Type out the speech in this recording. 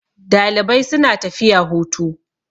Dalibai suna tafiya hutu.